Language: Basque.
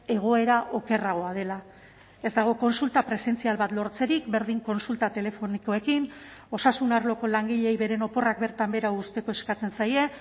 egoera okerragoa dela ez dago kontsulta presentzial bat lortzerik berdin kontsulta telefonikoekin osasun arloko langileei beren oporrak bertan behera uzteko eskatzen zaie